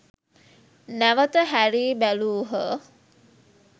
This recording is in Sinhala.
නැවත හැරී බැලූහ.